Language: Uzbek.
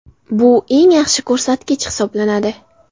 Bu eng yaxshi ko‘rsatkich hisoblanadi.